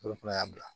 Olu fana y'a bila